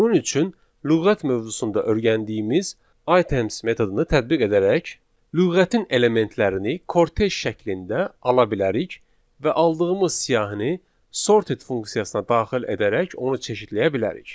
Bunun üçün lüğət mövzusunda öyrəndiyimiz items metodunu tətbiq edərək lüğətin elementlərini kortej şəklində ala bilərik və aldığımız siyahını sorted funksiyasına daxil edərək onu çeşidləyə bilərik.